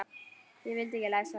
Ég vildi ekki lesa það.